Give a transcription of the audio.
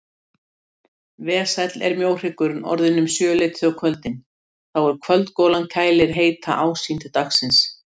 Vesæll er mjóhryggurinn orðinn um sjöleytið á kvöldin þá er kvöldgolan kælir heita ásýnd dagsins.